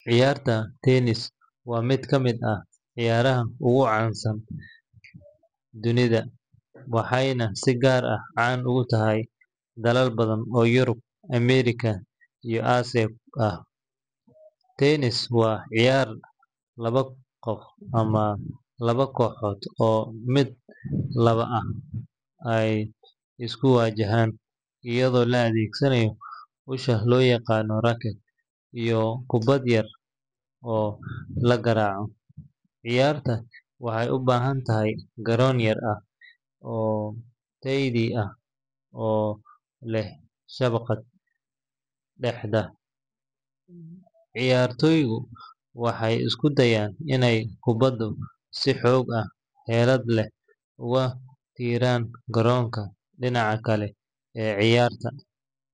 Ciyaarta tennis waa mid ka mid ah ciyaaraha ugu caansan dunida, waxayna si gaar ah caan uga tahay dalal badan oo Yurub, Ameerika iyo Aasiya ah. Tennis waa ciyaar labada qof ama laba kooxood oo min laba ah ay isku wajahaan, iyadoo la adeegsanayo usha loo yaqaan racket iyo kubbad yar oo la garaaco. Ciyaartan waxay u baahan tahay garoon gaar ah oo leydi ah oo leh shabakad dhexda ah. Ciyaartoygu waxay isku dayaan inay kubbadda si xoog iyo xeelad leh ugu tuuraan garoonka dhinaca kale ee cayaarta.